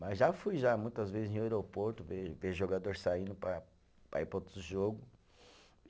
Mas já fui já muitas vezes em aeroporto ver ver jogador saindo para para ir para outro jogo.